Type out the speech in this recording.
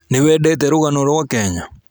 Nĩ wendete rũgano rwa kenya?